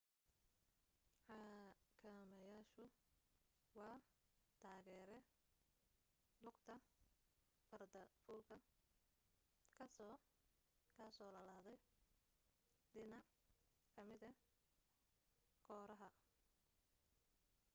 xakameyaashu waa taageere lugta farda fuulka kasoo kasoo laladay dhinac kamida kooraha